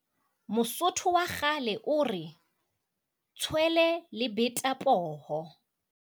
Mosotho wa kgale o re, tshwele le beta poho!